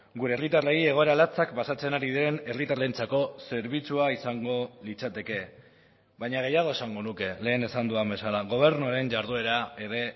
gure herritarrei egoera latzak pasatzen ari den herritarrentzako zerbitzua izango litzateke baina gehiago esango nuke lehen esan dudan bezala gobernuaren jarduera ere